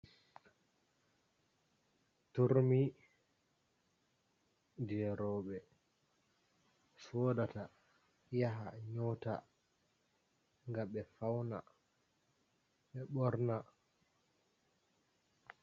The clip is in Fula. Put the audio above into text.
Turmi je rowɓe sodata yaha nyota ga ɓe faun ɓe ɓorna.